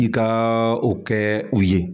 I ka o kɛ u ye